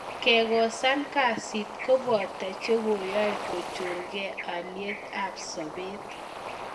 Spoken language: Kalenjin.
Kekosan Kasi kopoto chekoyai kochor kee alyet ab sobet.